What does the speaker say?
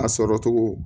A sɔrɔ cogo